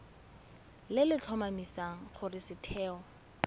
le le tlhomamisang gore setheo